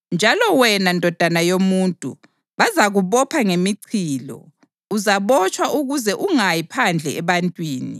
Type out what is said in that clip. Njalo, wena ndodana yomuntu, bazakubopha ngemichilo; uzabotshwa ukuze ungayi phandle ebantwini.